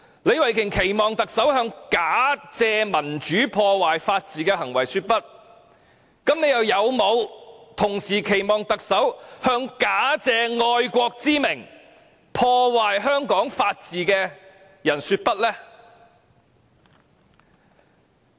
李慧琼議員期望特首向假借民主之名，破壞法治的行為說不；那麼，又有沒有期望特首向假借愛國之名，破壞香港法治的人說不呢？